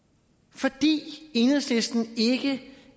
fordi enhedslisten ikke